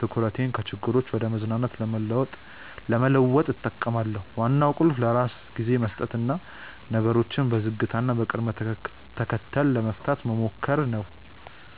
ትኩረቴን ከችግሮች ወደ መዝናናት ለመለወጥ እጠቀማለሁ። ዋናው ቁልፍ ለራስ ጊዜ መስጠትና ነገሮችን በዝግታና በቅደም ተከተል ለመፍታት መሞከር ነው።